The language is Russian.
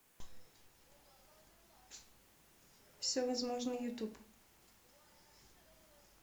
все возможно ютуб